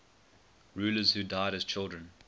rulers who died as children